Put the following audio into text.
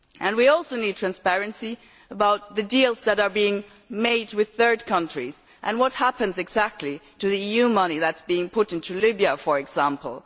We also need transparency about the deals that are being made with third countries and what happens exactly to the EU money that is being put into Libya, for example.